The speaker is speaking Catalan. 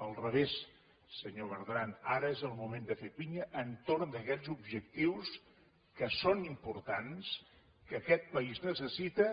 al revés senyor bertran ara és el moment de fer pinya entorn d’aquests objectius que són importants que aquest país necessita